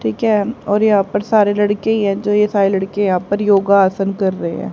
ठीक है और यहां पर सारे लड़के ही है जो ये सारे लड़के यहां पर योगा आसन कर रहे हैं।